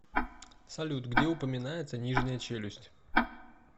салют где упоминается нижняя челюсть